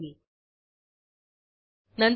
नंतर remove from checkout method call करू